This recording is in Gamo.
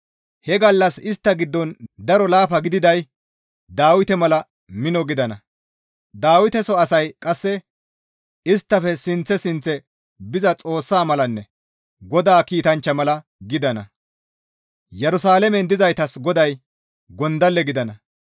He gallas istta giddon daro laafa gididay Dawite mala mino gidana; Dawiteso asay qasse isttafe sinththe sinththe biza Xoossa malanne GODAA kiitanchcha mala gidana; Yerusalaamen dizaytas GODAY gondalle gidana.